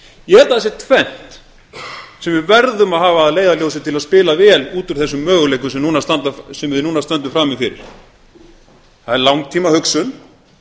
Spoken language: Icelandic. ég held að það sé tvennt sem við verðum að hafa að leiðarljósi til að spila vel út úr þessum möguleikum sem við núna stöndum frammi fyrir það er langtímahugsun